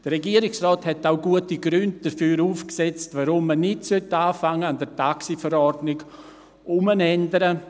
Der Regierungsrat hat auch gute Gründe dafür aufgezählt, warum man nicht beginnen sollte, an der TaxiV herumzuändern.